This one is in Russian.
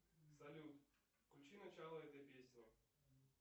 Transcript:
салют включи начало этой песни